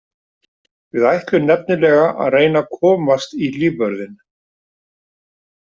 Við ætlum nefnilega að reyna að komast í lífvörðinn.